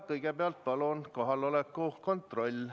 Kõigepealt palun kohaloleku kontroll.